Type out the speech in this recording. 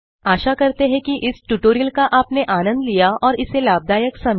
आशा करते हैं कि इस ट्यूटोरियल का आपने आनंद लिया और इसे लाभदायक समझा